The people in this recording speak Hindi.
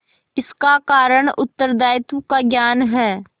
इसका कारण उत्तरदायित्व का ज्ञान है